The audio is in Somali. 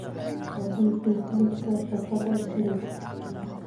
nadiifi liiska shaqada guriga